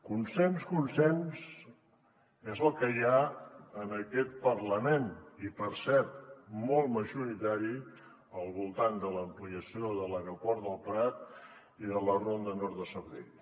consens consens és el que hi ha en aquest parlament i per cert molt majoritari al voltant de l’ampliació de l’aeroport del prat i de la ronda nord de sabadell